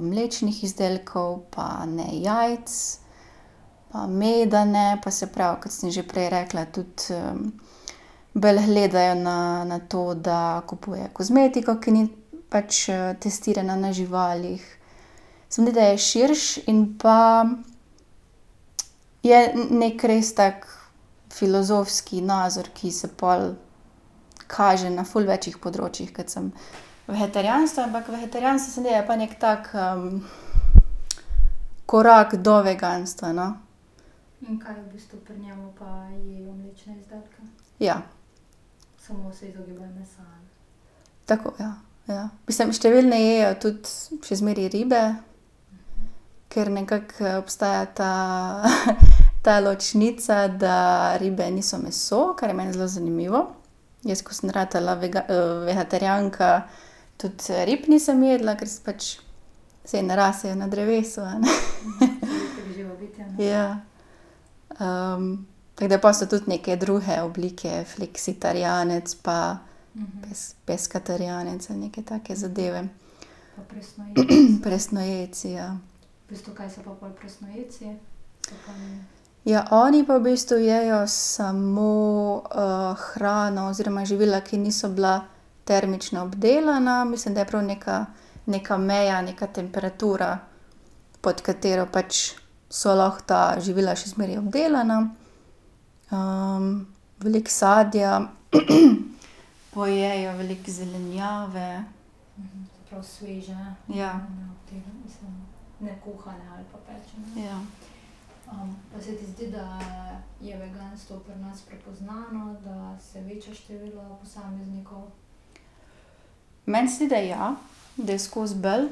mlečnih izdelkov pa ne jajc, pa meda ne pa, se pravi, kot sem že prej rekla, tudi, bolj gledajo na, na to, da kupujejo kozmetiko, ki ni pač, testirana na živalih. Se mi zdi, da je širše, in pa je neki res tak filozofski nazor, ki se pol kaže na ful več področjih kot samo vegetarijanstvo, ampak vegetarijanstvo se mi zdi, da je pa neki tak, korak do veganstva, no. Ja. Tako, ja. Ja. Mislim, številni jejo tudi še zmeraj ribe, ker nekako, obstaja ta, ta ločnica, da ribe niso meso, kar je meni zelo zanimivo. Jaz, ko sem ratala vegetarijanka, tudi, rib nisem jedla, ker sem pač, saj ne rasejo na drevesu, a ne. Ja. tako da pol so tudi neke druge oblike. Fleksitarijanec pa peskaterijanec ali neke take zadeve. Presnojedci, ja. Ja, oni pa v bistvu jejo samo, hrano oziroma živila, ki niso bila termično obdelana. Mislim, da je prav neka, neka meja, neka temperatura, pod katero pač so lahko ta živila še zmeraj obdelana. veliko sadja pojejo, veliko zelenjave. Ja. Ja. Meni se zdi, da ja. Da je skozi bolj.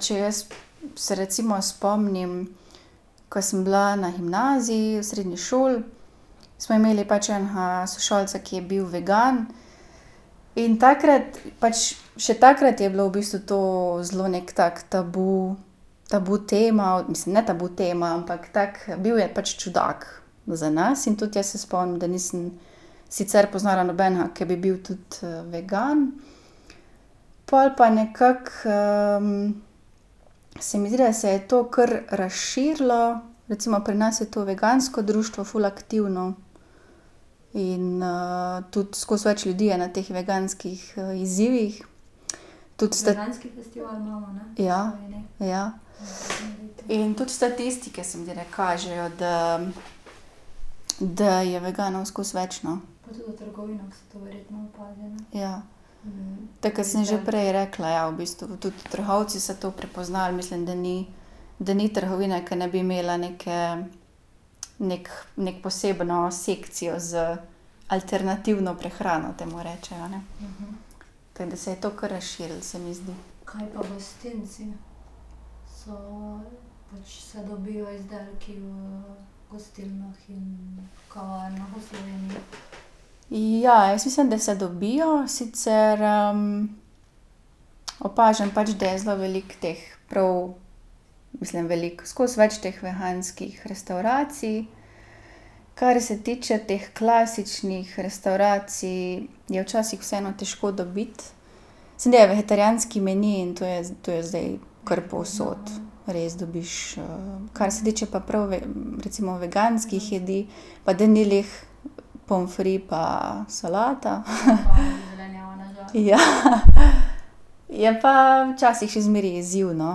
če jaz se recimo spomnim, ke sem bila na gimnaziji, v srednji šoli, smo imeli pač enega sošolca, ki je bil vegan, in takrat pač, še takrat je bilo v bistvu to zelo neki tak tabu, tabu tema, mislim, ne tabu tema, ampak tako, bil je pač čudak za nas in tudi jaz se spomnim, da nisem sicer poznala nobenega, ki bi bil tudi, vegan. Pol pa nekako, se mi zdi, da se je to kar razširilo, recimo pri nas je to vegansko društvo ful aktivno. In, tudi skozi več ljudi je na teh veganskih, izzivih. Tudi Ja. Ja. In tudi statistike se mi zdi, da kažejo, da da je veganov skozi več, no. Ja. Tako, kot sem že prej rekla, ja. V bistvu tudi trgovci so to prepoznali. Mislim, da ni, da ni trgovine, ke ne bi imela neke neko, neko posebno sekcijo z alternativno prehrano, temu rečejo, ne. Tako da se je to kar razširilo, se mi zdi. Ja. Jaz mislim, da se dobijo. Sicer, opažam pač, da je zelo veliko teh prav, mislim veliko, skozi več teh veganskih restavracij. Kar se tiče teh klasičnih restavracij, je včasih vseeno težko dobiti. Samo da je vegetarijanski meni in to je, to je zdaj kar povsod, res dobiš, Kar se tiče pa prav, recimo veganskih jedi, pa da ni glih pomfrit pa solata. Ja. Je pa včasih še zmeraj izziv, no.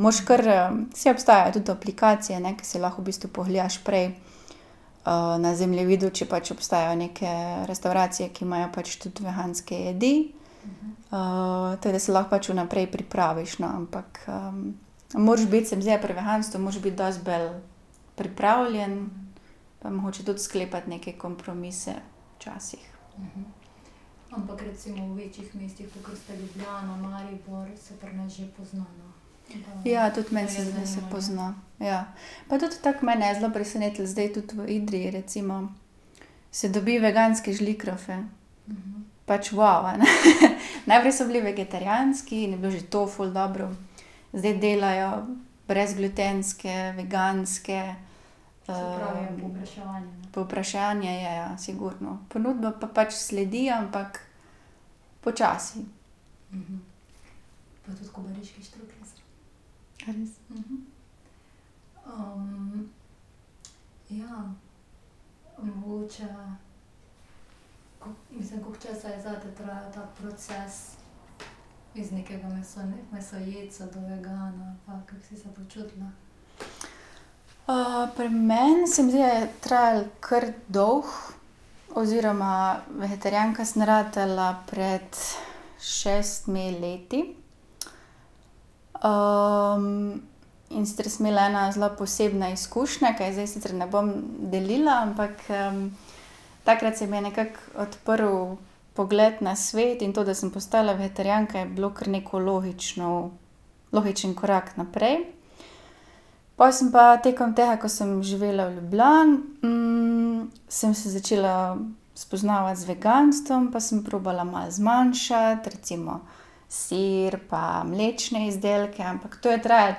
Moraš kar, ... Saj obstajajo tudi aplikacije, ne, ke si lahko v bistvu pogledaš prej, na zemljevidu, če pač obstajajo neke restavracije, ki imajo pač tudi veganske jedi. tako da si lahko pač vnaprej pripraviš, no. Ampak, moraš biti, se mi zdi, da pri veganstvu moraš biti dosti bolj pripravljen mogoče tudi sklepati neke kompromise včasih. Ja, tudi meni se zdi, da se pozna. Ja. Pa tudi tako, mene je zdaj zelo presenetilo zdaj tudi v Idriji, recimo. Se dobi veganske žlikrofe. Pač, a ne. Najprej so bili vegetarijanski, je bilo že to ful dobro. Zdaj delajo brezglutenske, veganske, Povpraševanje je, ja. Sigurno. Ponudba pa pač sledi, ampak počasi. pri meni, se mi zdi, da je trajalo kar dolgo oziroma vegetarijanka sem ratala pred šestimi leti. in sicer sem imela eno zelo posebno izkušnjo, ki je zdaj sicer ne bom delila, ampak, takrat se mi je nekako odprl pogled na svet in to, da sem postala vegetarijanka, je bilo kar neko logično, logičen korak naprej. Pol sem pa, tekom tega, ko sem živela v Ljubljani, sem se začela spoznavati z veganstvom, pa sem probala malo zmanjšati, recimo sir pa mlečne izdelke. Ampak to je trajalo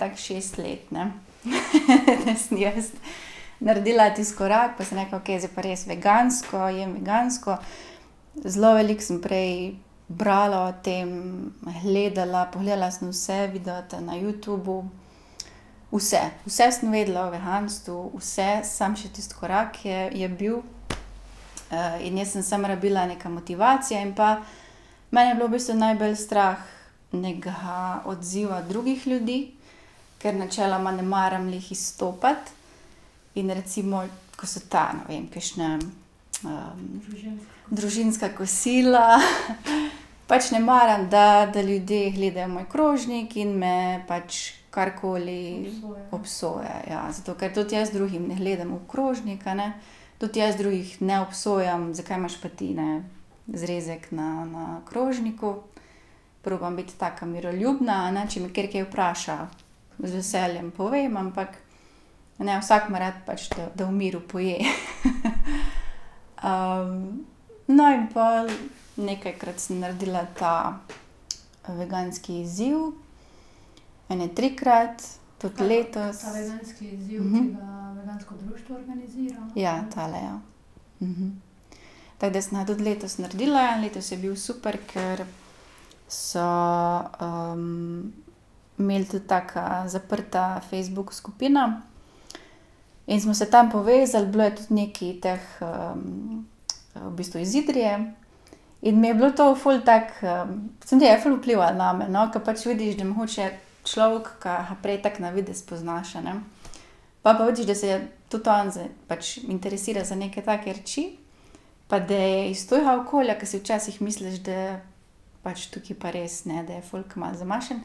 tako šest let, ne, da sem jaz naredila tisti korak pa sem rekla: "Okej, zdaj pa res vegansko, jem vegansko." Zelo veliko sem prej brala o tem, gledala, pogledala sem vse videe na Youtubu, vse. Vse sem vedela o veganstvu, vse, samo še tisti korak je, je bil, in jaz sem samo rabila neko motivacijo in pa mene je bilo v bistvu najbolj strah nekega odziva drugih ljudi, ker načeloma ne maram glih izstopati. In recimo, ko so ta, ne vem, kakšna, družinska kosila, pač ne maram, da, da ljudje gledajo moj krožnik in me pač karkoli obsojajo, ja. Zato ker tudi jaz drugim ne gledam v krožnik, a ne, tudi jaz drugih ne obsojam: "Zakaj imaš pa ti, ne, zrezek na, na krožniku?" Probam biti taka miroljubna, a ne. Če me kateri kaj vpraša, z veseljem povem, ampak, a ne, vsak ima rad, pač da, da v miru poje. no, in pol nekajkrat sem naredila ta veganski izziv, ene trikrat. Tudi letos. Ja, tale, ja. Tako da sem ga tudi letos naredila. Letos je bil super, ker so, imeli tudi tako zaprto Facebook skupino in smo se tam povezali. Bilo je tudi nekaj teh, v bistvu iz Idrije. In mi je bilo to ful tako, se mi zdi, da je ful vplivalo name, no. Ker pač vidiš, da mogoče človek, ka ga prej tako na videz poznaš, a ne, pol pa vidiš, da se je tudi on pač interesira za neke take reči pa da je iz tvojega okolja, ke si včasih misliš, da pač tukaj pa res, ne, da je folk malo zamašen.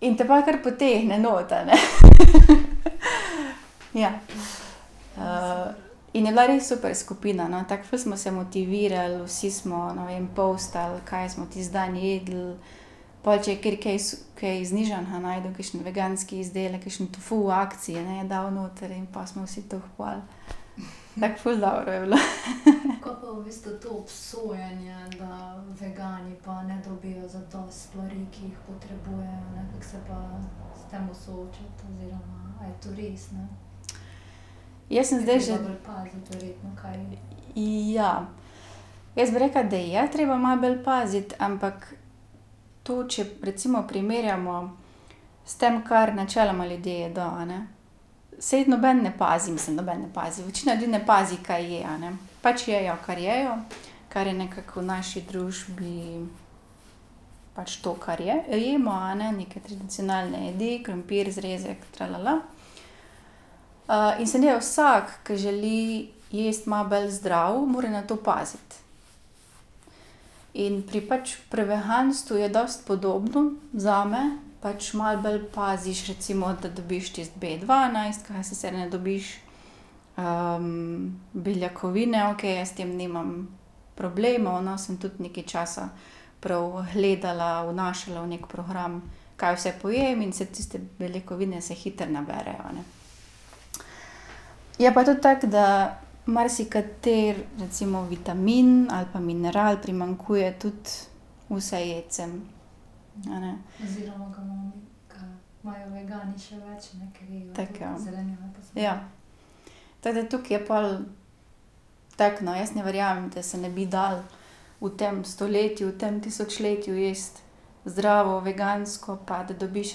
in te pol kar potegne noter, a ne. Ja. in je bila res super skupina, no. Tako ful smo se motivirali, vsi smo, ne vem, postal, kaj smo tisti dan jedli. Pol če je kateri kaj kaj znižanega našel, kakšen veganski izdelek, kakšen tofu v akciji, a ne, je dal noter in pol smo vsi to kupovali. Tako ful dobro je bilo. Jaz sem zdaj že ... Ja. Jaz bi rekla, da je treba malo bolj paziti, ampak tu, če recimo primerjamo s tem, kar načeloma ljudje jedo, a ne, saj noben ne pazi. Mislim, noben ne pazi, večina ljudi ne pazi, kaj je, a ne. Pač jejo, kar jejo, kar je nekako v naši družbi pač to, kar jemo, a ne. Neke tradicionalne jedi, krompir, zrezek, in se zdi, da vsak, ki želi jesti malo bolj zdravo, mora na to paziti. In pri pač, pri veganstvu je dosti podobno zame. Pač malo bolj paziš recimo, da dobiš tisti Bdvanajst, ke ga sicer ne dobiš, beljakovine, okej, jaz s tem nimam problemov, no, sem tudi nekaj časa prav gledala, vnašala v neki program, kaj vse pojem, in saj tiste beljakovine se hitro naberejo, a ne. Je pa tudi tako, da marsikateri recimo vitamin ali pa mineral primanjkuje tudi vsejedcem, a ne. Tako, ja. Ja. Tako da tukaj je pol tako, no, jaz ne verjamem, da se ne bi dalo v tem stoletju, v tem tisočletju jesti zdravo, vegansko, pa da dobiš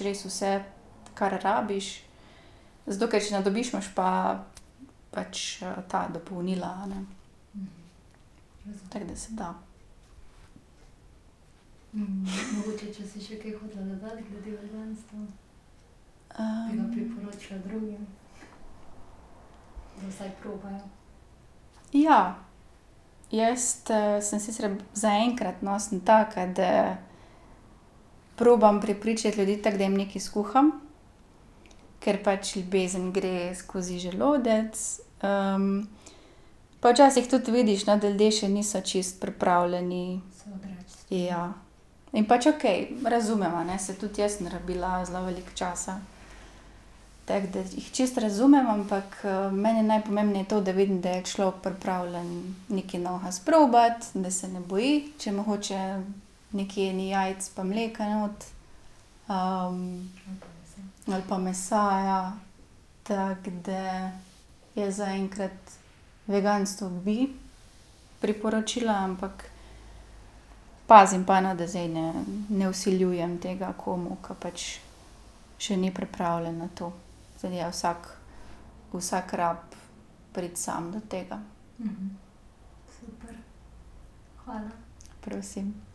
res vse, kar rabiš. Zato, ker če ne dobiš, imaš pa pač ta dopolnila, a ne. Tako da se da. Ja. Jaz sem sicer, zaenkrat, no, sem taka, da probam prepričati ljudi tako, da jim nekaj skuham, ker pač ljubezen gre skozi želodec. pa včasih tudi vidiš, no, da ljudje še niso čisto pripravljeni, ja. In pač okej. Razumem, a ne, saj tudi jaz sem rabila zelo veliko časa. Tako da jih čisto razumem, ampak, meni je najpomembneje to, da vidim, da je človek pripravljen nekaj novega sprobati, da se ne boji, če mogoče nekje ni jajc pa mleka not. ali pa mesa, ja. Tako da jaz zaenkrat veganstvo bi priporočila, ampak pozimi pa, no, da zdaj ne, ne vsiljujem tega komu, ker pač še ni pripravljen na to. Ja, vsak, vsak rabi priti sam do tega. Prosim.